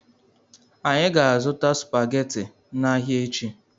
Anyị ga- azụta supaghetti n'ahia echi.